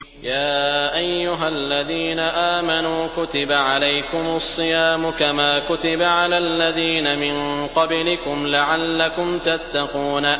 يَا أَيُّهَا الَّذِينَ آمَنُوا كُتِبَ عَلَيْكُمُ الصِّيَامُ كَمَا كُتِبَ عَلَى الَّذِينَ مِن قَبْلِكُمْ لَعَلَّكُمْ تَتَّقُونَ